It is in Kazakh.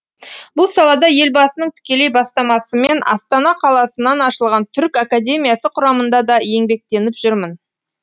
бұл салада елбасының тікелей бастамасымен астана қаласынан ашылған түрік академиясы құрамында да еңбектеніп жүрмін